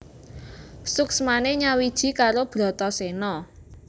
Suksmane nyawiji karo Bratasena